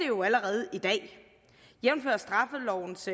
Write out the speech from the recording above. jo allerede i dag jævnfør straffelovens